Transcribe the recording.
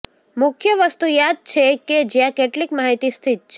મુખ્ય વસ્તુ યાદ છે કે જ્યાં કેટલીક માહિતી સ્થિત છે